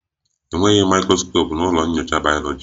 Enweghị mikroskopu na ụlọ nyocha bayoloji